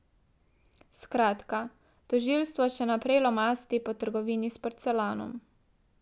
Skratka, tožilstvo še naprej lomasti po trgovini s porcelanom.